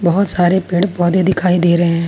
बहुत सारे पेड़ पौधे दिखाई दे रहे हैं।